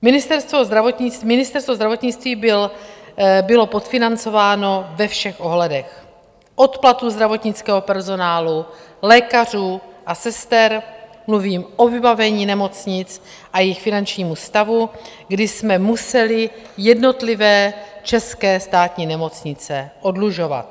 Ministerstvo zdravotnictví bylo podfinancováno ve všech ohledech, od platu zdravotnického personálu, lékařů a sester, mluvím o vybavení nemocnic a jejich finančnímu stavu, kdy jsme museli jednotlivé české státní nemocnice oddlužovat.